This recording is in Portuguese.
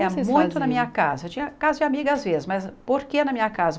É muito na minha casa, eu tinha casa de amiga às vezes, mas por que na minha casa?